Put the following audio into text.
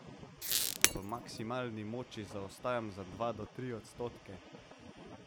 V maksimalni moči zaostajam za dva do tri odstotke.